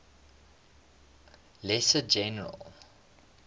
lesser general